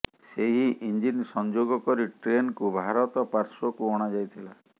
ସେହି ଇଞ୍ଜିନ୍ ସଂଯୋଗ କରି ଟ୍ରେନ୍କୁ ଭାରତ ପାଶ୍ୱର୍କୁ ଅଣାଯାଇଥିଲା